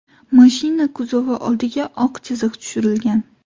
Mashina kuzovi oldiga oq chiziq tushirilgan.